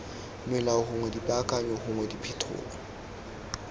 melao gongwe dipaakanyo gongwe diphetolo